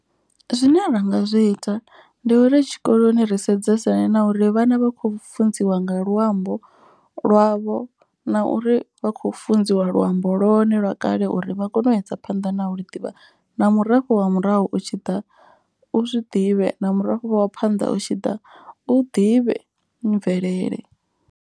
Zwine ra nga zwi ita ndi uri tshikoloni ri sedzesane na uri vhana vha kho funziwa nga luambo lwavho. Na uri vha khou funziwa luambo lwone lwa kale uri vha kone u isa phanḓa na u ḽi ḓivha. Na murafho wa murahu u tshi ḓa u zwi ḓivhe na murafho wa phanḓa u tshi ḓa u ḓivhe mvelele.